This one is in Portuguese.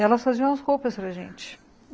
Elas faziam as roupas para a gente.